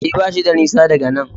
E, bashi da nisa daga nan.